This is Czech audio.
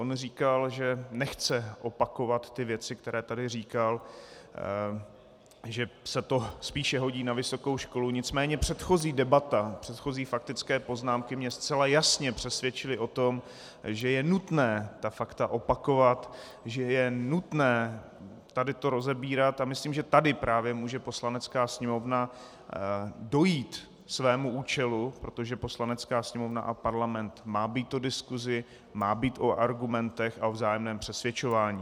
On říkal, že nechce opakovat ty věci, které tady říkal, že se to spíše hodí na vysokou školu, nicméně předchozí debata, předchozí faktické poznámky mě zcela jasně přesvědčily o tom, že je nutné ta fakta opakovat, že je nutné tady to rozebírat, a myslím, že tady právě může Poslanecká sněmovna dojít svého účelu, protože Poslanecká sněmovna a Parlament má být o diskusi, má být o argumentech a o vzájemném přesvědčování.